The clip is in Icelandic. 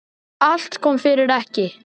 Allt kom fyrir ekki.